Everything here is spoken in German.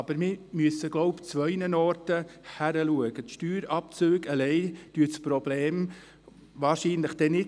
Meiner Meinung nach müssten wir aber zwei Kriterien betrachten, denn Steuerabzüge allein lösen das Problem wahrscheinlich nicht.